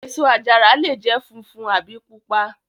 Èso àjàrà lè jẹ́ funfun àbí pupa.